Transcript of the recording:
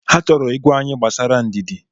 Ha chọrọ ịgwa anyị gbasara ndidi.